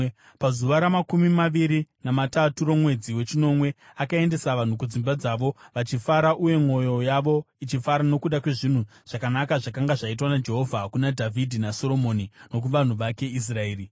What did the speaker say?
Pazuva ramakumi maviri namatatu romwedzi wechinomwe akaendesa vanhu kudzimba dzavo, vachifara uye mwoyo yavo ichifara nokuda kwezvinhu zvakanaka zvakanga zvaitwa naJehovha kuna Dhavhidhi naSoromoni nokuvanhu vake Israeri.